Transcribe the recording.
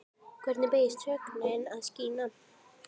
Hvernig beygist sögnin að skína?